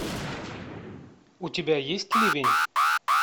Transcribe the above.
у тебя есть ливень